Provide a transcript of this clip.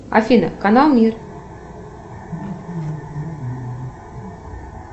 афина канал мир